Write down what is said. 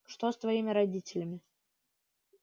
что с твоими родителями